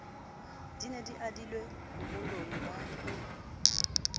di adilwe bomoloi ba ho